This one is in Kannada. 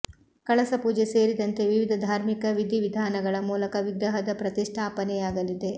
ಕಳಸ ಪೂಜೆ ಸೇರಿದಂತೆ ವಿವಿಧ ಧಾರ್ಮಿಕ ವಿಧಿ ವಿಧಾನಗಳ ಮೂಲಕ ವಿಗ್ರಹದ ಪ್ರತಿಷ್ಟಾಪನೆಯಾಗಲಿದೆ